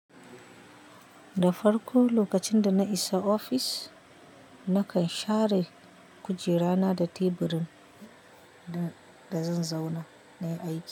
Da farko lokacin da na isa ofis, nakan share kujera na da teburin da zan zauna nayi aiki.